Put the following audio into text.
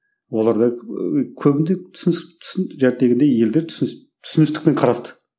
олар да көбіне түсін елдер түсіністікпен қарасты